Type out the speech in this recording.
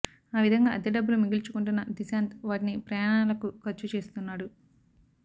ఆ విధంగా అద్దె డబ్బులు మిగిల్చుకుంటున్న దిశాంత్ వాటిని ప్రయాణాలకు ఖర్చు చేస్తున్నాడు